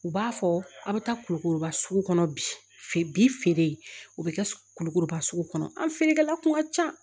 U b'a fɔ aw bɛ taa kulukɔrɔba sugu kɔnɔ bi feere o bɛ kɛ kulukoroba sugu kɔnɔ an feerekɛla tun ka can